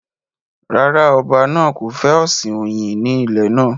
Rárá, ọba náà kò fẹ́ ọ̀sìn oyin ní ilẹ̀ náà